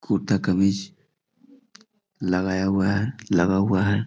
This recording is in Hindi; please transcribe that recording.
कुर्ता-कमीज लगाया हुआ है लगा हुआ है।